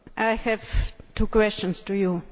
I have two questions for you.